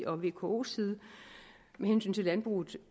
og vkos side med hensyn til landbruget